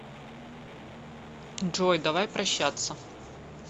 джой давай прощаться